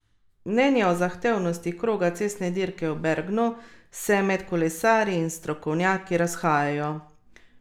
Mnenja o zahtevnosti kroga cestne dirke v Bergnu se med kolesarji in strokovnjaki razhajajo.